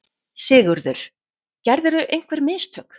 SIGURÐUR: Gerðirðu einhver mistök?